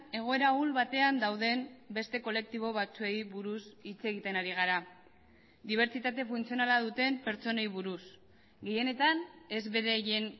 egoera ahul batean dauden beste kolektibo batzuei buruz hitz egiten ari gara dibertsitate funtzionala duten pertsonei buruz gehienetan ez beraien